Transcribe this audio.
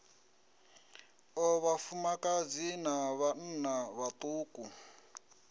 o vhafumakadzi na vhanna vhaṱuku